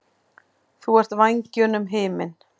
Þú ert vængjunum himinn.